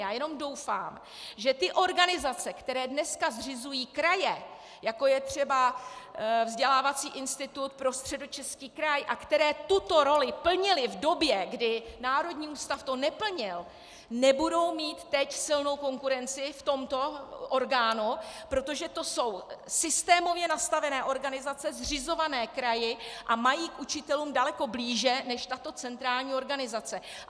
Já jenom doufám, že ty organizace, které dneska zřizují kraje, jako je třeba Vzdělávací institut pro Středočeský kraj, a které tuto roli plnily v době, kdy národní ústav ji neplnil, nebudou mít teď silnou konkurenci v tomto orgánu, protože to jsou systémově nastavené organizace zřizované kraji a mají k učitelům daleko blíže než tato centrální organizace.